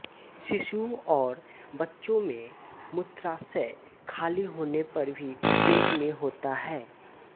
शिशुओं और बच्चों में मूत्राशय खाली होने पर भी पेट में होता है